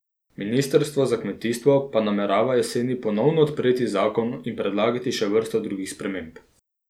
Ministrstvo za kmetijstvo pa namerava jeseni ponovno odpreti zakon in predlagati še vrsto drugih sprememb.